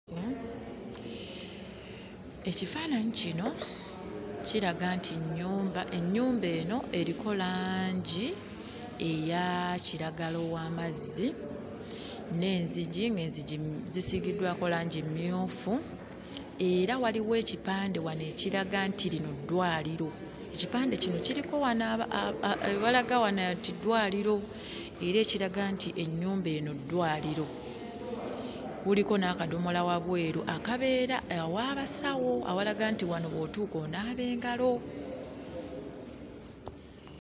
Ekifaananyi kino kiraga nti nnyumba, ennyumba eno eriko langi eya kiragala ow'amazzi n'enzigi, ng'enzigi zisiigiddwako langi mmyufu era waliwo ekipande wano ekiraga nti lino ddwaliro. Ekipande kino kiriko wano ewalaga wano nti ddwaliro era ekiraga nti ennyumba eno ddwaliro. Kuliko n'akadomola wabweu akabeera ew'abasawo awalaga nti wano bw'otuuka onaaba engalo.